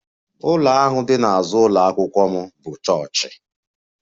Ụlọ ahụ dị n'azụ ụlọ akwụkwọ m bụ chọọchị